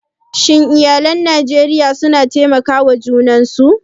Shin iyalai a Najeriya suna taimakar junan su?